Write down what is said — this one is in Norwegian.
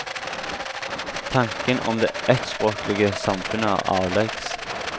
Tanken om det eittspråklege samfunnet er avleggs.